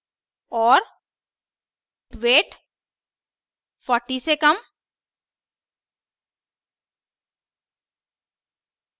और weight 40से कम